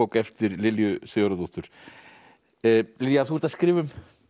eftir Lilju Sigurðardóttur Lilja þú ert að skrifa um